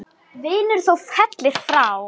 Helgi gefur góð ráð, sendir